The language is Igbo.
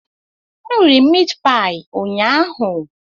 M riri meatpie ụnyaahụ.